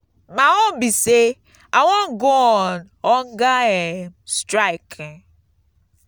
my own be say i wan go on hunger um strike.